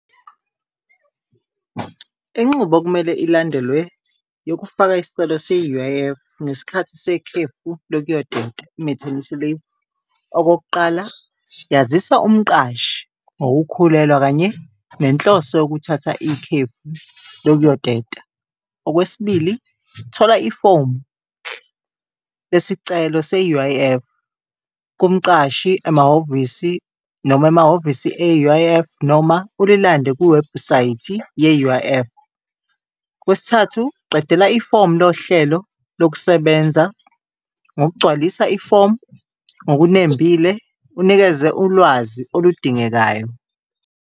Inqubo okumele ilandelwe yokufaka isicelo se-U_I_F ngesikhathi sekhefu lokuyoteta i-maternity leave. Okokuqala, yazisa umqashi ngokukhulelwa kanye nenhloso yokuthatha ikhefu lokuyoteta. Okwesibili, thola ifomu lesicelo se-U_I_F kumqashi, emahhovisi noma emahhovisi e-U_I_F noma ulilande kuwebhusayithi ye-U_I_F. Okwesithathu, qedela ifomu lohlelo lokusebenza ngokugcwalisa ifomu ngokunembile unikeze ulwazi oludingekayo.